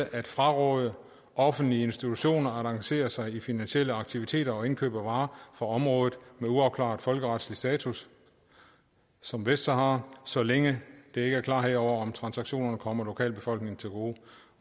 at fraråde offentlige institutioner at engagere sig i finansielle aktiviteter og indkøb af varer fra områder med uafklaret folkeretlig status som vestsahara så længe der ikke er klarhed over om transaktionerne kommer lokalbefolkningen til gode